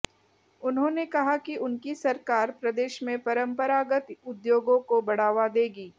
उन्होंने कहा कि उनकी सरकार प्रदेश में परंपरागत उद्योगों को बढ़ावा देगी